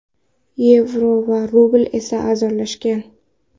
Yevro va rubl esa arzonlashgan.